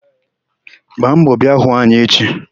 Gbaa mbọ bịa hụ anyị echi!